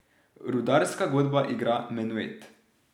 Rudarska godba igra menuet.